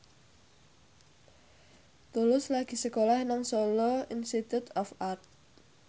Tulus lagi sekolah nang Solo Institute of Art